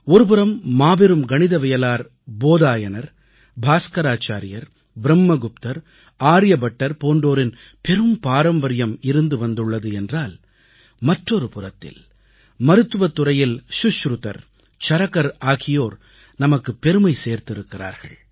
ஒருபுறம் மாபெரும் கணிதவியலாளர் போதாயனர் பாஸ்கராச்சார்யர் பிரம்மகுப்தர் ஆர்யபட்டர் போன்றோரின் பெரும் பாரம்பரியம் இருந்து வந்துள்ளது என்றால் மற்றொரு புறத்தில் மருத்துவத் துறையில் சுஷ்ருதர் சரகர் ஆகியோர் நமக்குப் பெருமை சேர்த்திருக்கிறார்கள்